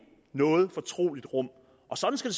noget fortroligt rum og sådan skal